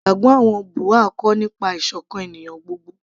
ìgbàgbọ́ àwọn Buha'i kọ́ nípa ìsọ̀kan ènìyàn gbogbo